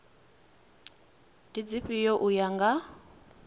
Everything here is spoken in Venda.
ndi dzifhio u ya nga